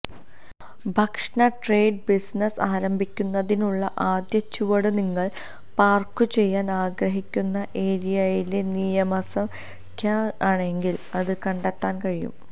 ഭക്ഷണ trade business ആരംഭിക്കുന്നതിനുള്ള ആദ്യ ചുവട് നിങ്ങൾ പാർക്കുചെയ്യാൻ ആഗ്രഹിക്കുന്ന ഏരിയയിലെ നിയമസംഖ്യയാണെങ്കിൽ അത് കണ്ടെത്താൻ കഴിയും